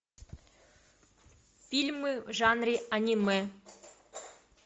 фильмы в жанре аниме